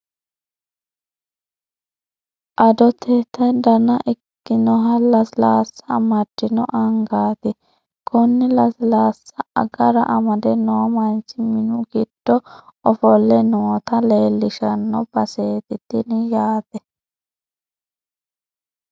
Adottote dana ikkinoha lasilaassa amaddino angaati. Konne lasilaassa agara amade noo manchi minu giddo ofolle noota leellishshano baseeti tini yaate.